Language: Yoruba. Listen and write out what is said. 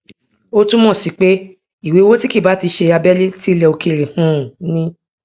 ó túnmọ sí pé ìwé owó tí kìí bá ṣe ti abẹlé tí ilẹ òkèèrè um ni